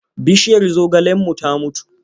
Bishiyar zogalenmu ta mutu.